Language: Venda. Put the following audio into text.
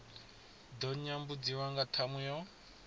ḓo nyambudziwa nga ṱhamu yo